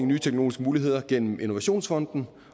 nye teknologiske muligheder gennem innovationsfonden